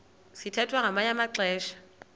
sithwethwa ngamanye amaxesha